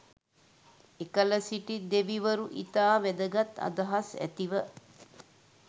එකල සිටි දෙවිවරු ඉතා වැදගත් අදහස් ඇතිව